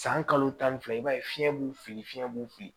San kalo tan ni fila i b'a ye fiɲɛ b'u fili fiɲɛ b'u fe yen